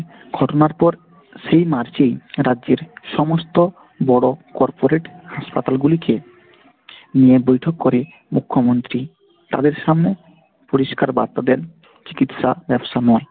ঘটনার পর সেই march এই রাজ্যের সমস্ত বড় corporate হাসপাতাল গুলিকে নিয়ে বৈঠক করেন মুখ্যমন্ত্রী তাদের সামনে পরিষ্কার বার্তা দেন চিকিৎসা ব্যবসা নয়।